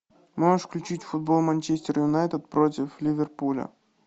можешь включить футбол манчестер юнайтед против ливерпуля